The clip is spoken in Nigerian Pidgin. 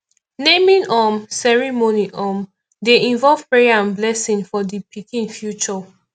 naming um ceremony um dey involve prayer and blessing for di pikin future